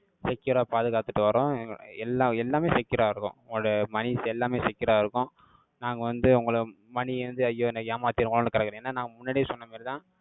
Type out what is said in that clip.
secure ஆ பாதுகாத்துட்டு வர்றோம். அஹ் எல்லா, எல்லாமே secure ஆ இருக்கும். உங்களோட moneys எல்லாமே secure ஆ இருக்கும். நாங்க வந்து, உங்களை money ய வந்து, ஐயோ! என்னை ஏமாத்திருவோன்னு, கிடக்குறேன். ஏன்னா, நான், முன்னாடியே சொன்ன மாரிதான்,